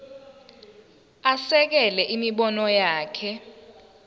asekele imibono yakhe